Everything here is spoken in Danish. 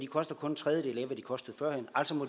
koster kun en tredjedel af hvad de kostede førhen altså må